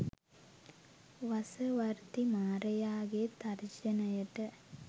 වසවර්ති මාරයාගේ තර්ජනයට